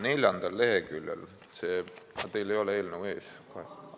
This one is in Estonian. Neljandal leheküljel – teil ei ole eelnõu ees?